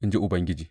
in ji Ubangiji.